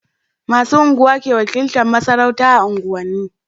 Masu unguwa ke wakiltar masarauta a unguwan ni